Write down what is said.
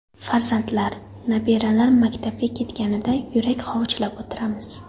Farzandlar, nabiralar maktabga ketganida yurak hovuchlab o‘tiramiz.